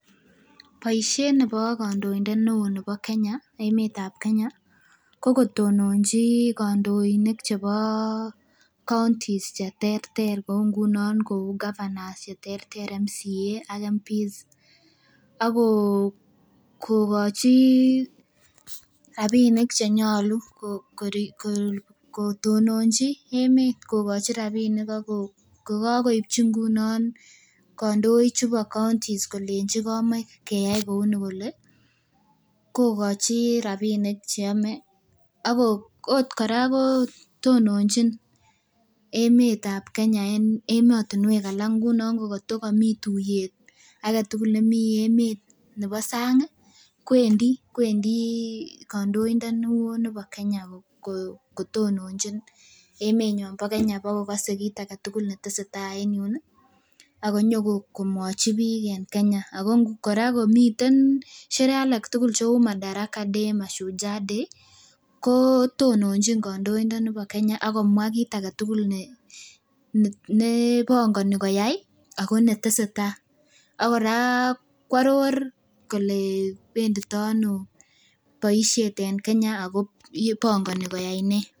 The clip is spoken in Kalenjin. Boisiet nebo kandoindet neoo nebo Kenya, emetab Kenya ko kotononji kandoinik chebo counties cheterter kou ngunon kou governors cheterter member of county assembly ak members of parliament ako kokochi rapinik chenyolu kotononji emet kokochi rapinik ak ko kokakoipchi ngunon kondoik chubo counties kolenji komoe keyai kouni kole kokochi rapinik cheyome ako ot kora kotononjin emetab Kenya en emotinwek alak ngunon ko katokomii tuiyet aketugul nemii emet nebo sang ih kwendii kwendii kandoindoni oo nibo Kenya kotononjin emenyon bo Kenya bokokose kit aketugul netesetai en yun ih akonyokomwochi biik en Kenya ako kora komiten sherehe alak tugul cheu Madaraka day, Mashujaa day kotononjin kandoindoni bo Kenya akomwaa kit aketugul ne nebongoni koyai ako netesetai ak kora koaror kole benditoo ano boisiet en Kenya ako bongoni koyai nee